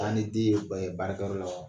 Taa ni den ye ba ye baarakɛ yɔrɔ la ?